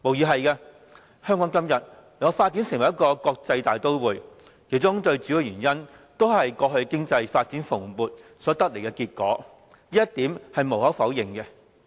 香港今天能夠發展成為一個國際大都會，最主要的原因無疑是過去經濟發展蓬勃，這一點是無可否認的。